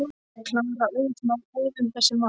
Klara á auðvelt með að ræða um þessi mál.